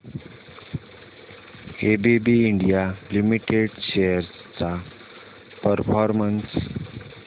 ABB India limited shares चा performance